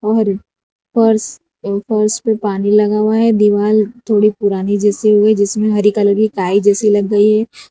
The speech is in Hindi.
और फर्श इन फर्श पर पानी लगा हुआ है दीवाल थोड़ी पुरानी जैसी हो गई है जिसमे हरी कलर की काई जैसी लग गई है।